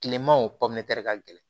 Kileman o ka gɛlɛn